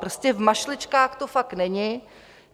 Prostě v mašličkách to fakt není.